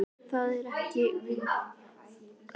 ÞAÐ ER EKKERT VIT Í ÞESSU.